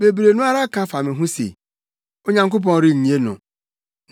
Bebree no ara ka fa me ho se, “Onyankopɔn rennye no.”